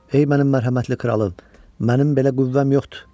Ey mənim mərhəmətli kralım, mənim belə qüvvəm yoxdur.